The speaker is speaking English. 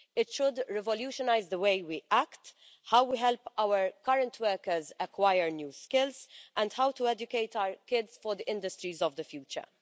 It should revolutionise the way we act, how we help our current workers acquire new skills, and how to educate our kids for the industries of the future.